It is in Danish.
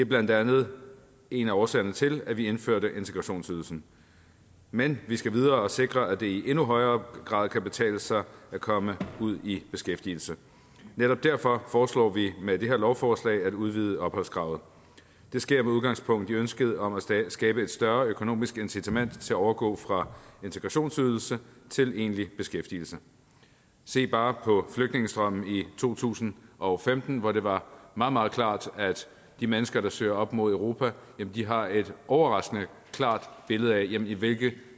blandt andet en af årsagerne til at vi indførte integrationsydelsen men vi skal videre og sikre at det i endnu højere grad kan betale sig at komme ud i beskæftigelse netop derfor foreslår vi med det her lovforslag at udvide opholdskravet det sker med udgangspunkt i ønsket om at skabe et større økonomisk incitament til at overgå fra integrationsydelse til egentlig beskæftigelse se bare på flygtningestrømmen i to tusind og femten hvor det var meget meget klart at de mennesker der søger op mod europa har et overraskende klart billede af i hvilke